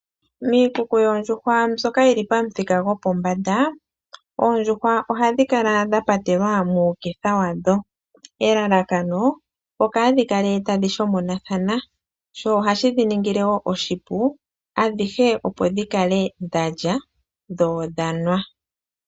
Miikuku yOndjuhwa mbyoka yili pamuthika go pombanda, oodjuhwa oha dhikala dha patelwa muuketha wadho elalakano okaadhikale tadhi shomonatha sho ohashi dhiningile wo oshipu adhihe opo dhikale dhalya dho odhanwa.